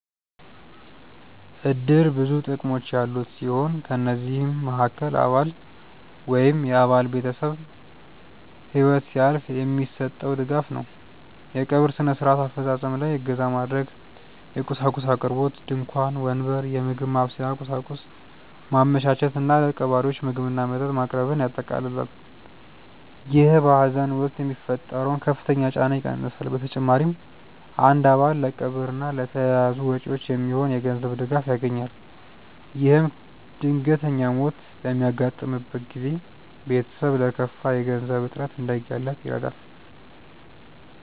እድር ብዙ ጥቅሞች ያሉት ሲሆን ከነዚህም መሃከል አባል ወይም የአባል ቤተሰብ ህይወት ሲያልፍ የሚሰጠው ድጋፍ ነው። የቀብር ስነ-ስርዓት አፈፃፀም ላይ እገዛ ማድረግ፣ የቁሳቁስ አቅርቦት (ድንኳን፣ ወንበር፣ የምግብ ማብሰያ ቁሳቁስ) ማመቻቸት እና ለቀባሪዎች ምግብና መጠጥ ማቅረብን ያጠቃልላል። ይህ በሀዘን ወቅት የሚፈጠረውን ከፍተኛ ጫና ይቀንሳል። በተጨማሪም አንድ አባል ለቀብር እና ለተያያዙ ወጪዎች የሚሆን የገንዘብ ድጋፍ ያገኛል። ይህም ድንገተኛ ሞት በሚያጋጥምበት ጊዜ ቤተሰብ ለከፋ የገንዘብ እጥረት እንዳይጋለጥ ይረዳል።